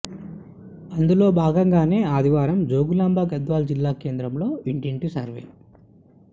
అందులో భాగంగానే ఆదివారం జోగులాంబ గద్వాల జిల్లా కేంద్రంలో ఇంటింటి సర్వే